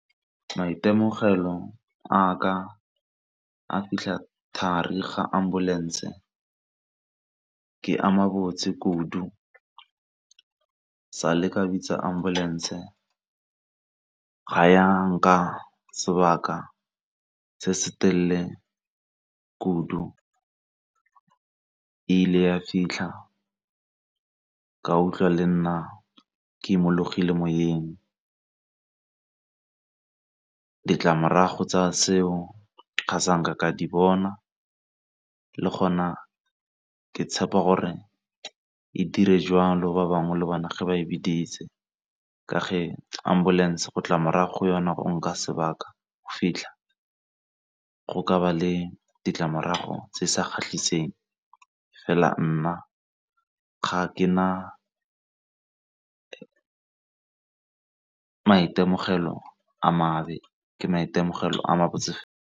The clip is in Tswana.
Maitemogelo a ka a fitlha thari ga ambulance e ka ama botse kudu, sa le ka bitsa ambulance ga ya nka sebaka se se telele kudu e ile ya fitlha ka utlwa le nna ke imologile moyeng. Ditlamorago tsa seo ga ka di bona le gona ke tshepa gore e dire jwalo ba bangwe le bona fa ba e biditse. Ka fa ambulance go tla morago yona e nka sebaka go fitlha, go ka ba le ditlamorago tse di sa kgatlhiseng fela nna ga ke na maitemogelo a mabe ke maitemogelo a ma botse .